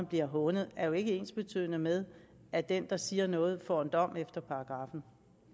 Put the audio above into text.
bliver hånet jo ikke er ensbetydende med at den der siger noget får en dom efter paragraffen